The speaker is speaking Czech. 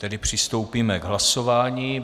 Tedy přistoupíme k hlasování.